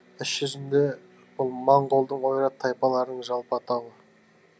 іс жүзінде бұл моңғолдың ойрат тайпаларының жалпы атауы